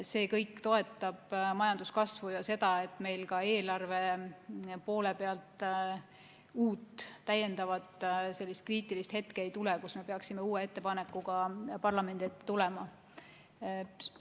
See kõik toetab majanduskasvu ja seda, et meil ka eelarve poole pealt järjekordset kriitilist hetke ei tuleks, kus peaksime uue ettepanekuga parlamendi ette tulema.